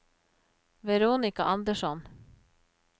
Veronika Andersson